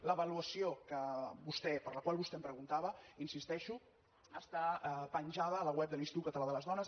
l’avaluació per la qual vostè em preguntava hi insisteixo està penjada a la web de l’institut català de les dones